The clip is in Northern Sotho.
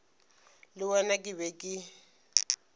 le wena ke be ke